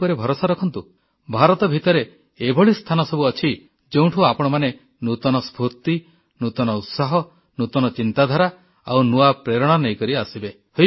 ମୋ ଉପରେ ଭରସା ରଖନ୍ତୁ ଭାରତ ଭିତରେ ଏଭଳି ସ୍ଥାନ ସବୁ ଅଛି ଯେଉଁଠୁ ଆପଣମାନେ ନୂତନ ସ୍ଫୁର୍ତ୍ତି ନୂତନ ଉତ୍ସାହ ନୂତନ ଚିନ୍ତାଧାରା ଆଉ ନୂଆ ପ୍ରେରଣା ନେଇକରି ଆସିବେ